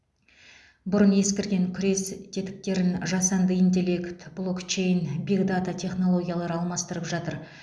бұрынғы ескірген күрес тетіктерін жасанды интеллект блокчейн бигдата технологиялары алмастырып жатыр